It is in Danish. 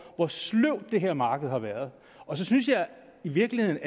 hvor sløvt det her marked har været og så synes jeg i virkeligheden